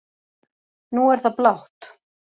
Nú er það blátt